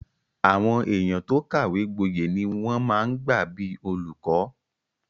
Àwọn èèyàn tó kàwé gbọyè ni wọ́n máa ń gbà bíi olùkọ́